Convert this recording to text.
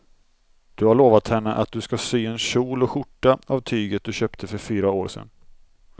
Du har lovat henne att du ska sy en kjol och skjorta av tyget du köpte för fyra år sedan.